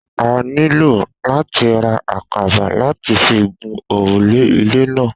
A nílò láti ra àkàbà láti fi gun òrùlé ilé náà